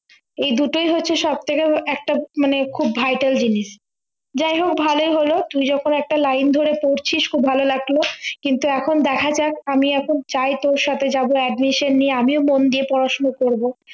এই দুটোই হচ্ছে সবচেয়ে একটা মানে খুব vital জিনিস যাইহোক ভালোই হলো তুই যেরকম একটা line ধরে পড়ছিস খুব ভালো লাগলো কিন্তু এখন দেখা যাক আমি এখন চাই তোর সাথে যাবো admission নিয়ে আমিও মন দিয়ে পড়াশোনা করব